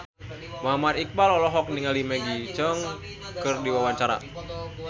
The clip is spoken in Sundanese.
Muhammad Iqbal olohok ningali Maggie Cheung keur diwawancara